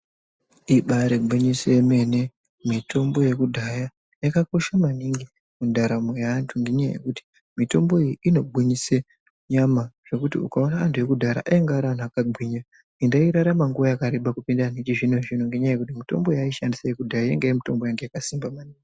Ibaarigwinyiso yemene mitombo yekudyaya yakakosha maningi mundaramo yaantuu ngenyaya yekuti mitombo iyi inogwinyise nyama zvekuti ukaona anhu ekudhaya ainga ari antu akagwinya, ende airarama nguwa yakareba kupinda antu echizvino zvino ngenyaya yekuti mitombo yaaishandisa yekudhaya yainga iri mitombo yakasimba maningi.